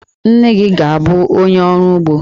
Nne gị ga-abụ onye ọrụ ugbo.